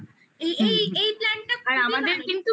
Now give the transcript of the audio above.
একটা এই এই Plan টা খুবই ভালো